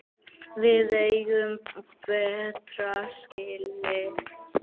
Við eigum betra skilið.